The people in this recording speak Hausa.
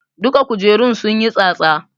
Duka kujerun sunyi tsatsa